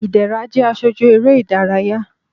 ìdẹrá jẹ aṣoju eré idàráyá